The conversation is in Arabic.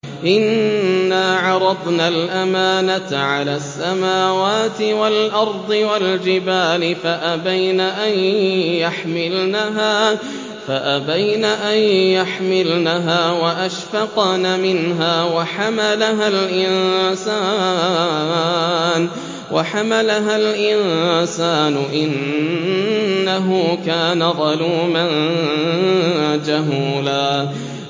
إِنَّا عَرَضْنَا الْأَمَانَةَ عَلَى السَّمَاوَاتِ وَالْأَرْضِ وَالْجِبَالِ فَأَبَيْنَ أَن يَحْمِلْنَهَا وَأَشْفَقْنَ مِنْهَا وَحَمَلَهَا الْإِنسَانُ ۖ إِنَّهُ كَانَ ظَلُومًا جَهُولًا